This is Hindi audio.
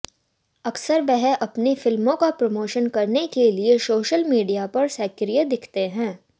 अक्सर वह अपनी फ़िल्मों का प्रमोशन करने के लिए सोशल मीडिया पर सक्रिय दिखते हैं